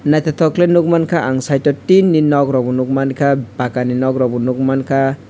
naithothok khlai nukmankha ang side o tinni nok rokbo nukmankha pakkani nok rokbo nukmankha.